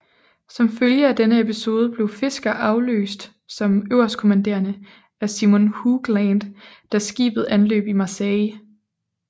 Som følge af denne episode blev Fisker afløst som øverstkommanderende af Simon Hooglant da skibet anløb Marseille